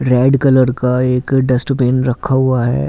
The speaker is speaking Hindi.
रेड कलर का एक डस्टबीन रखा हुआ है।